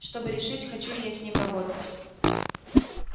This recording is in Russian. чтобы решить хочу ли я с ним работать